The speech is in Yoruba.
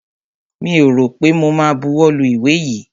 Mi ò rọ̀ pé mo ma buwọ́ lu ìwé yìí.